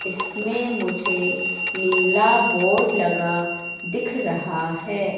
इसमें मुझे नीला बोर्ड लगा दिख रहा है।